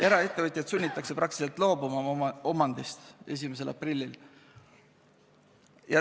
Eraettevõtjat sunnitakse oma omandist 1. aprillil praktiliselt loobuma.